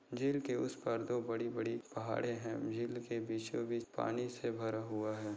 झील के उस पार दो बड़ी-बड़ी पहाड़े हैं झील के बीचों-बीच पानी से भरा हुआ हैं।